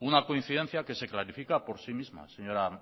una coincidencia que se clarifica por sí misma señora